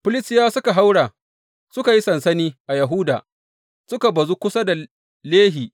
Filistiyawa suka haura suka yi sansani a Yahuda, suka bazu kusa da Lehi.